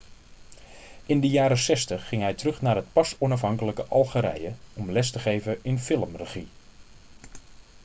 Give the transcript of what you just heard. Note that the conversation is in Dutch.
in de jaren 60 ging hij terug naar het pas onafhankelijke algerije om les te geven in filmregie